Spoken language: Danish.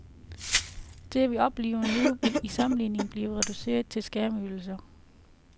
Det, vi oplever nu, vil i sammenligning blive reduceret til skærmydsler.